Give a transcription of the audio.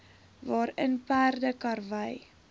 waarin perde karwy